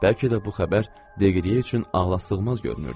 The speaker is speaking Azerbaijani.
Bəlkə də bu xəbər Deqriyə üçün ağlasığmaz görünürdü.